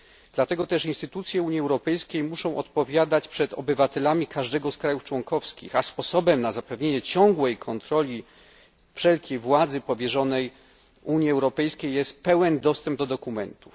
Dlatego też instytucje Unii Europejskiej muszą odpowiadać przed obywatelami każdego z państw członkowskich, a sposobem na zapewnienie ciągłej kontroli wszelkiej władzy powierzonej Unii Europejskiej jest pełen dostęp do dokumentów.